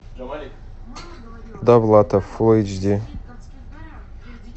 довлатов фул эйч ди